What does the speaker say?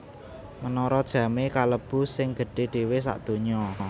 Menara Jamé kalebu sing gedhé dhéwé sadonya